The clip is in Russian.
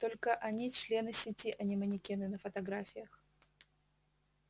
только они члены сети а не манекены на фотографиях